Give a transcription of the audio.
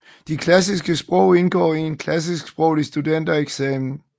De klassiske sprog indgår i en klassisksproglig studentereksamen